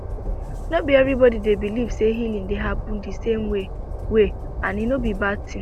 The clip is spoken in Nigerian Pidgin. no be everybody dey believe say healing dey happen de same way way and e no be bad tin